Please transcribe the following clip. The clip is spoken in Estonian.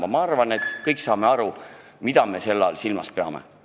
Üldiselt arvan, et kõik me saame aru, mida me selle sõnapaari all silmas peame.